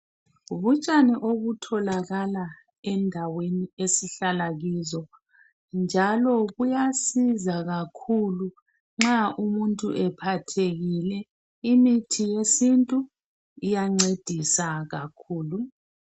Butshani obutholakala endaweni esihlala kizo njalo kuyasiza kakhulu nxa umuntu ephathekile imithi yesintu iyancedisa kakhulu